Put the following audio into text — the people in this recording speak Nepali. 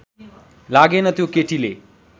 लागेन त्यो केटीले